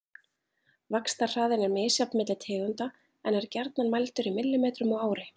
vaxtarhraðinn er misjafn milli tegunda en er gjarnan mældur í millimetrum á ári